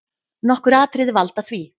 Nokkur atriði valda því.